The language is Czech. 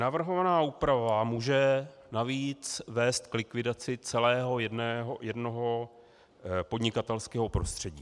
Navrhovaná úprava může navíc vést k likvidaci celého jednoho podnikatelského prostředí.